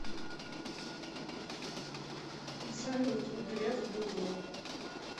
салют греф быдло